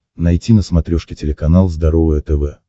найти на смотрешке телеканал здоровое тв